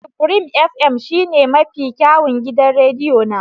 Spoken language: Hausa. Supreme fm shine mafi kyawun gidan rediyo na.